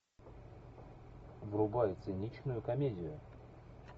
врубай циничную комедию